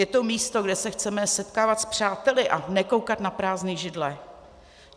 Je to místo, kde se chceme setkávat s přáteli a nekoukat na prázdné židle.